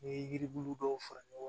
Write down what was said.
N'i ye yiri bulu dɔw fara ɲɔgɔn